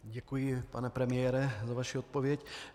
Děkuji, pane premiére, za vaši odpověď.